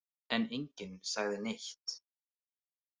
En enginn sagði neitt.